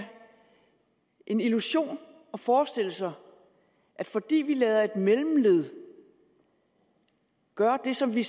en illusion at forestille sig at fordi vi lader et mellemled gøre det som vi